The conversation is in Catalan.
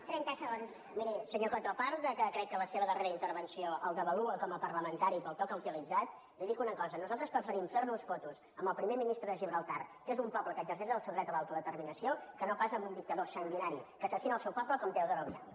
miri senyor coto a part que crec que la seva darrera intervenció el devalua com a parlamentari pel to que ha utilitzat li dic una cosa nosaltres preferim fer nos fotos amb el primer ministre de gibraltar que és un poble que exerceix el seu dret a l’autodeterminació que no pas amb un dictador sanguinari que assassina el seu poble com teodoro obiang